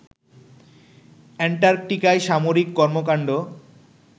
অ্যান্টার্কটিকায় সামরিক কর্মকান্ড